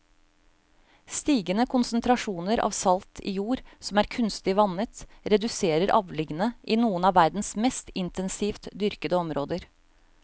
Stigende konsentrasjoner av salt i jord som er kunstig vannet reduserer avlingene i noen av verdens mest intensivt dyrkede områder.